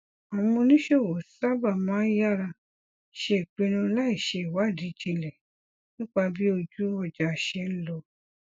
àwọn oníṣòwò sábà máa ń yára ṣe ipinnu láì ṣe ìwádìí jinlẹ nípa bí ojú ọjà ṣe ń lọ